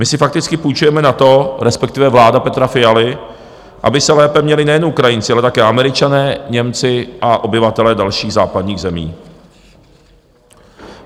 My si fakticky půjčujeme na to, respektive vláda Petra Fialy, aby se lépe měli nejen Ukrajinci, ale také Američané, Němci a obyvatelé dalších západních zemí.